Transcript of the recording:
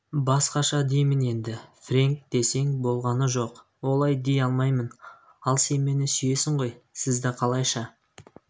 басқаша деймін енді фрэнк десең болғаны жоқ олай дей алмаймын ал сен мені сүйесің ғой сізді қалайша